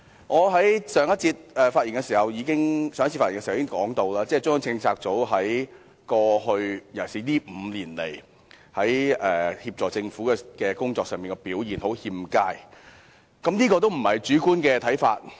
我在上一次發言時已經說過，中央政策組在過去，尤其是過去5年，在協助政府的工作上表現欠佳，這個也不是主觀的看法。